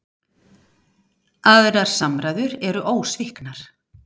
Aðrar samræður eru ósviknar.